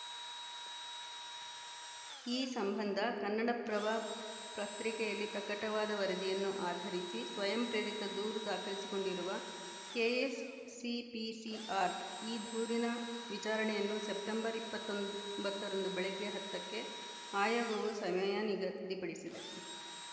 ಈ ಸಂಬಂಧ ಕನ್ನಡಪ್ರಭ ಪ್ರತ್ರಿಕೆಯಲ್ಲಿ ಪ್ರಕಟವಾದ ವರದಿಯನ್ನು ಆಧರಿಸಿ ಸ್ವಯಂ ಪ್ರೇರಿತ ದೂರು ದಾಖಲಿಸಿಕೊಂಡಿರುವ ಕೆಎಸ್‌ಸಿಪಿಸಿಆರ್‌ ಈ ದೂರಿನ ವಿಚಾರಣೆಯನ್ನುಸೆಪ್ಟೆಂಬರ್ ಇಪ್ಪತ್ತ್ ಒಂಬತ್ತರಂದು ಬೆಳಗ್ಗೆ ಹತ್ತಕ್ಕೆ ಆಯೋಗವು ಸಮಯ ನಿಗದಿಪಡಿಸಿದೆ